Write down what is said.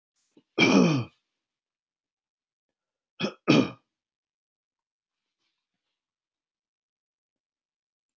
Í háskörðunum eru nú örþunnir, þverhníptir rimar á milli dalanna sitt hvorum megin.